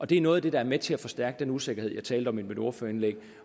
det er noget af det der er med til at forstærke den usikkerhed jeg talte om i mit ordførerindlæg